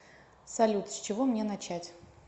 салют с чего мне начать